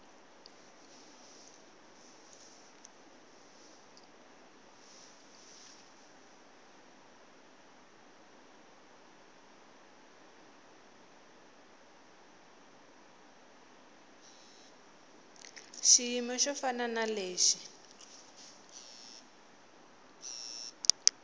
xiyimo xo fana na lexi